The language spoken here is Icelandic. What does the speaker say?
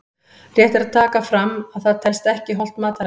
Rétt er að taka fram að það telst ekki hollt mataræði!